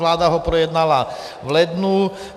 Vláda ho projednala v lednu.